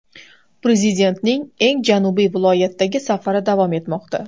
Prezidentning eng janubiy viloyatdagi safari davom etmoqda.